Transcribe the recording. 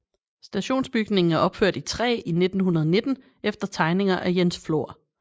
Stationsbygningen er opført i træ i 1919 efter tegninger af Jens Flor